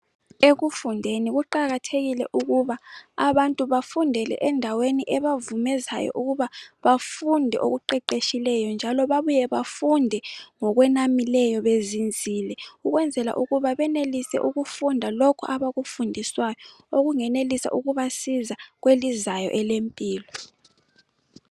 Ekufundeni kuqakathekile ukuba abantu bafundele endaweni ebavumezayo ukuba bafunde okuqeqeshileyo njalo bafunde ngokunamileyo bezinzile. Ukwenzela ukuthi benelise ukufunda lokhu abakufundiswayo okungenelisa ukubasiza kwelizayo elemphilo.